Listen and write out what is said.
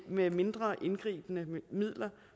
med mindre indgribende midler